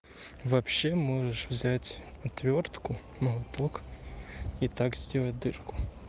вообще можешь взять отвёртку молоток и так сделать дырку